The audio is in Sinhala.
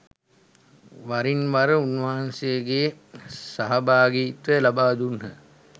වරින්වර උන්වහන්සේගේ සහභාගිත්වය ලබාදුන්හ.